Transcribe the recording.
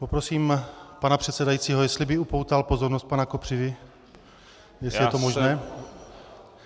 Poprosím pana předsedajícího, jestli by upoutal pozornost pana Kopřivy, jestli je to možné.